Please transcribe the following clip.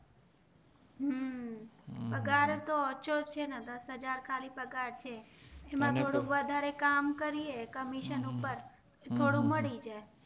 હમ પગાર તો ઓછો છે ને દસ હાજર ખાલી પગાર છે એમાં થોડુંક વધારે કામ કરીયે કમિશન ઉપર થોડુંક મળી જાય